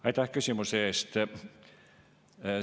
Aitäh küsimuse eest!